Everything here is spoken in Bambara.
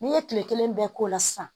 N'i ye kile kelen bɛɛ k'o la sisan